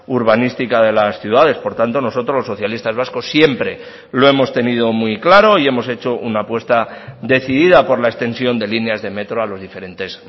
urbanística de las ciudades por tanto nosotros los socialistas vascos siempre lo hemos tenido muy claro y hemos hecho una apuesta decidida por la extensión de líneas de metro a los diferentes